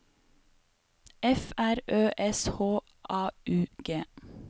F R Ø S H A U G